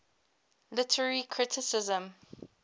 literary criticism